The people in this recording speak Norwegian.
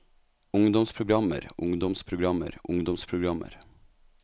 ungdomsprogrammer ungdomsprogrammer ungdomsprogrammer